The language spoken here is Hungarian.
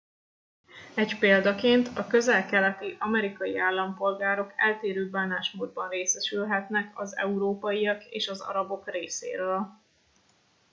egy példaként a közel keleti amerikai állampolgárok eltérő bánásmódban részesülhetnek az európaiak és az arabok részéről